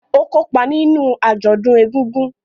Ó kópa nínú àjọ̀dún ègùngùn